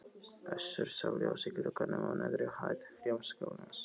Össur sá ljós í glugganum á neðri hæð Hljómskálans.